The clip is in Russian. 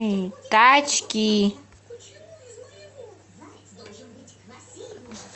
тачки